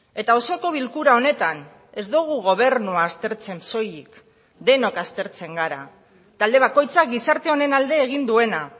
eta osoko bilkura honetan ez dugu gobernua aztertzen soilik denok aztertzen gara talde bakoitzak gizarte honen alde egin duena